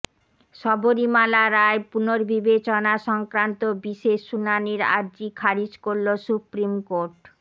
শবরীমালা রায় পুনর্বিবেচনা সংক্রান্ত বিশেষ শুনানির আর্জি খারিজ করল সুপ্রিম কোর্ট